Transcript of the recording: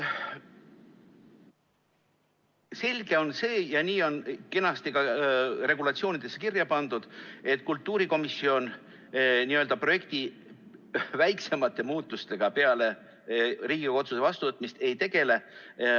Selge on see ja nii on kenasti ka regulatsioonidesse kirja pandud, et kultuurikomisjon n‑ö projekti väiksemate muutustega peale Riigikogu otsuse vastuvõtmist ei tegele.